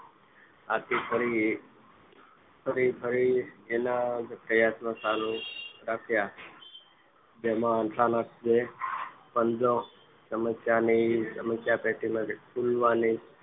આથી ફરી ફરી એના એ જ પ્રયાસો ચાલુ રાખ્યા તેમાં અચાનક તેનો પંજો સમસ્યા ની સમસ્યા પેટીના ખોલવાની